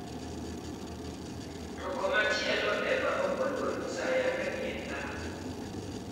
To komachielo, Eva ok oluor nyiso ayanga ni en dhako.